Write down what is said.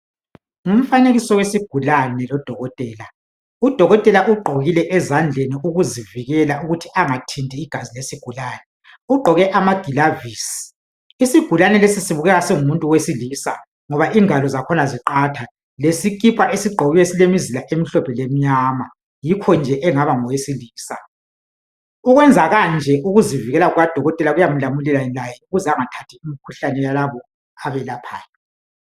ngumfanekiso wesigulane lodokotela udokotela ugqokile ezandleni ukuzivikela ukuthi angathinti igazi lesigulane ugqoke amagilavisi isigulane lesi sibukeka singumuntu owesilisa ngoba ingalo zakhona ziqatha lesikipa esigqokiweyo silemizila emhlophe lemnyama yikho nje engaba ngowesilisa ukwenza kanje ukuzivikela kukadokotela kuyamlamulela laye ukuze engathathi imikhuhlane yalabo abelaphayo